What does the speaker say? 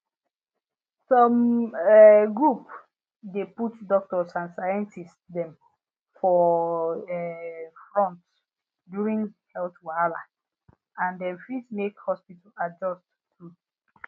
some um group dey put doctors and scientists um for um front during health wahala and dem fit make hospital adjust too